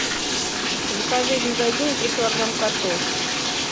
закажи из магазина три килограмма картошки